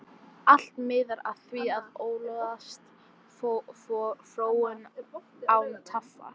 Allt miðar að því að öðlast fróun, án tafar.